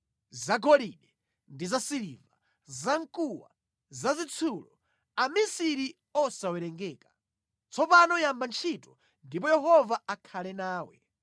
zagolide ndi zasiliva, zamkuwa, zazitsulo, amisiri osawerengeka. Tsopano yamba ntchito, ndipo Yehova akhale nawe.”